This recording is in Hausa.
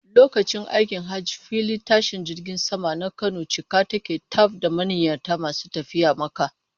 Lokacin aikin hajji filin tashin jirgin saman na Kano cika yake taf da manniyata masu tafiya Makka.